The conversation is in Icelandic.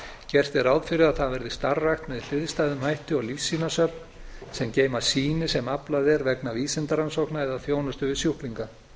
gert er ráð fyrir að það verði starfrækt með hliðstæðum hætti og lífsýnasöfn sem geyma sýni sem aflað er vegna vísindarannsókna eða þjónustu við sjúklinga á